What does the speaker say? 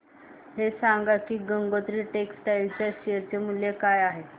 हे सांगा की गंगोत्री टेक्स्टाइल च्या शेअर चे मूल्य काय आहे